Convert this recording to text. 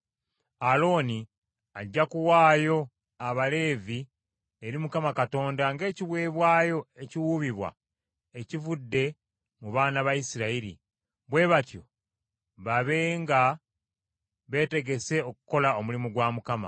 Alooni ajja kuwaayo Abaleevi eri Mukama Katonda ng’ekiweebwayo ekiwuubibwa ekivudde mu baana ba Isirayiri, bwe batyo babe nga beetegese okukola omulimu gwa Mukama .